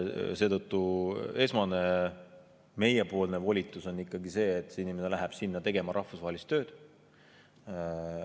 Seetõttu on meie esmane volitus ikkagi see, et inimene läheb sinna tegema rahvusvahelist tööd.